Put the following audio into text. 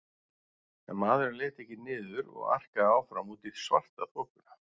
En maðurinn leit ekki niður og arkaði áfram út í svartaþokuna.